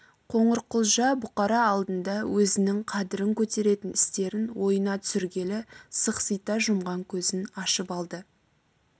қоңырқұлжа бұқара алдында өзінің қадірін көтеретін істерін ойына түсіргелі сықсита жұмған көзін ашып алды